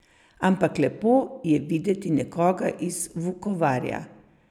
Ampak lepo je videti nekoga iz Vukovarja.